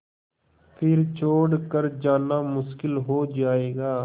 फिर छोड़ कर जाना मुश्किल हो जाएगा